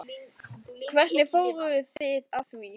Hvernig fóruð þið að því?